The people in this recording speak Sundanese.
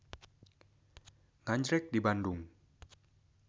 Nganjrek di Bandung.